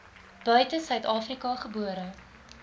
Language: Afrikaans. buite suidafrika gebore